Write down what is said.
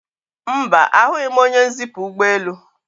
Mba, ahụghị m onye nzipu ụgbọelu